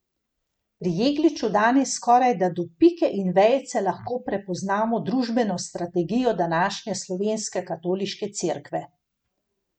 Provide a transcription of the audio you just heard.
Pri Jegliču danes skorajda do pike in vejice lahko prepoznamo družbeno strategijo današnje slovenske katoliške Cerkve.